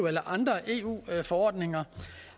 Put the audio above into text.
eller andre eu forordninger